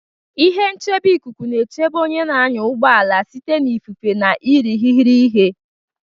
Ihe nchebe ikuku na-echebe onye na-anya ụgbọ ala site na ifufe na irighiri ihe.